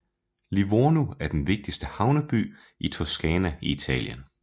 Livorno er den vigtigste havneby i Toscana i Italien